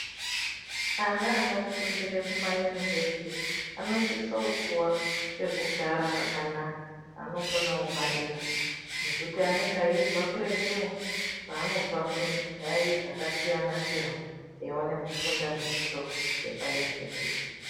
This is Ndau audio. Ana anofundire Kuma university anosise kupiwa pekugara pakanaka paanokona kungwarira ngekuti eibva kuretu kwaanobva kundai dzakasiyana siyana eone kufunda zvidzidzo zvepa university .